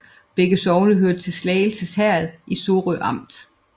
Begge sogne hørte til Slagelse Herred i Sorø Amt